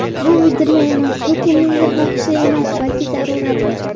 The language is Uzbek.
Bu uydirma emas, bu kimningdir xohishi emas, balki zaruratdir.